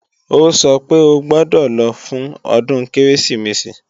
Ó sọ pé o gbọ́dọ̀ lọ fún ọdún Kérésìmesì!